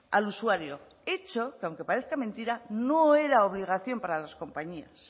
al usuario hecho que aunque parezca mentira no era obligación para las compañías